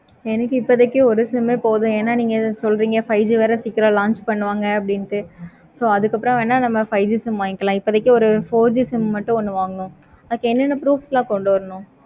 எனக்கு இப்போதைக்கு ஒரு sim போதும் என நீங்க சொல்றிங்க five G சீக்கிரம் launch பண்ணுவாங்க அப்படினு so அதுக்கு அப்பறம் வென நம்ம five G sim வாங்கிக்கலாம். இப்போதைக்கு நம்ம four G sim மட்டு வாங்கிக்கலாம்.